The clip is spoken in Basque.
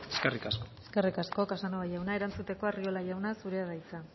eskerrik asko eskerrik asko casanova jauna erantzuteko arriola jauna zurea da hitza